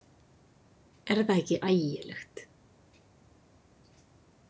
Er það ekki ægilegt?